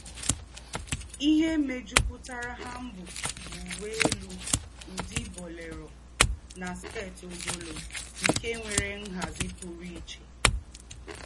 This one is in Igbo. Íhé méjùpùtàrà hanbok bú úwé élú údí boléro nà skét ógọ́lọ́, nké nwéré ńhází pùrù íché.